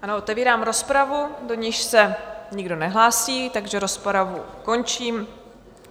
Ano, otevírám rozpravu, do níž se nikdo nehlásí, takže rozpravu končím.